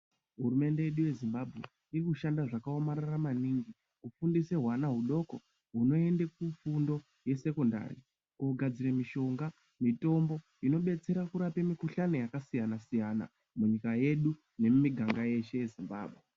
Hurumende yedu yezimbabwe irikushanda zvakaomarara maningi kufundise hwana hudoko hunoende kufundo yesekondari kugadzire mishonga, mitombo inobetsera kurape mikhuhlani yakasiyana siyana munyika yedu nemumiganga yeshe yeZimbambwe.